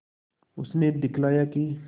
उसने दिखलाया कि